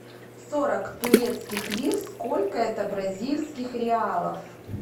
сорок турецких лир сколько это бразильских реалов